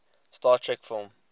star trek film